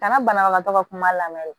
Ka na banabagatɔ ka kuma lamɛn